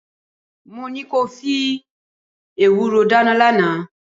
Mo ní ko fi ewúró dáná lánàá